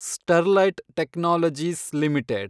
Sterlite technologies limited